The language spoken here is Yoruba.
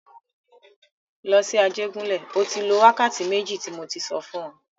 Lọ sí Ajégúnlẹ̀! O tí lọ láti wákàtí méjì tí mo tí sọ fún e.